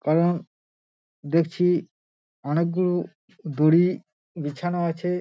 কারণ দেখছি অনেকগুলো দড়ি বিছানো আছে।